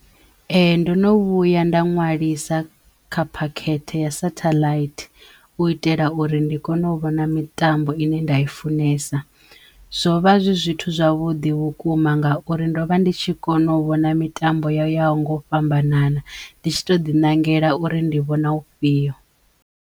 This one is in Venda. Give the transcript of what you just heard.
Ee. Ndo no vhuya nda ṅwalisa kha phakhethe ya sathaḽaithi u itela uri ndi kone u vhona mitambo ine nda i funesa zwo vha zwi zwithu zwavhuḓi vhukuma ngauri ndo vha ndi tshi kona u vhona mitambo yo yaho nga u fhambanana ndi tshi to ḓi ṋangela uri ndi vhona u fhiyo.